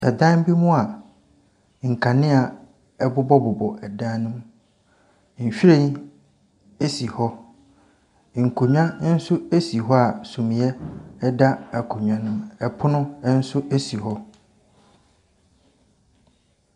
Ɛdan bi mu a nkanea bobɔbobɔ dan no mu. Nhwiren si hɔ. Nkonnwa nso si hɔ a sumiiɛ da akonnwa no mu. Pono nso si hɔ.